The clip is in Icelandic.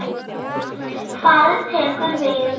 Hvað tekur við?